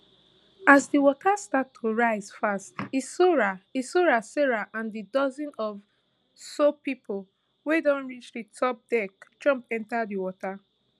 as di water start to rise fast hissora hissora sarah and di dozen or so pipo wey don reach di top deck jump enta di water